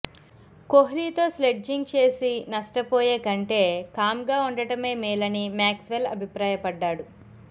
కోహ్లీతో sledging చేసి నష్ట పోయేకంటే కామ్గా ఉండటమే మేలని మ్యాక్స్ వెల్ అభిప్రాయపడ్డాడు